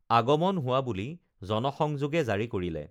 আগমন হোৱা বুলি জনসংযোগে জাৰি কৰিলে